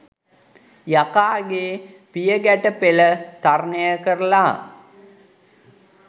යකාගේ පියගැටපෙල තරණය කරලා